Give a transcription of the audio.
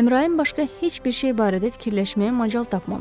Əmrayin başqa heç bir şey barədə fikirləşməyə macal tapmamışdı.